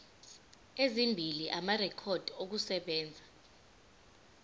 ezimbili amarekhodi okusebenza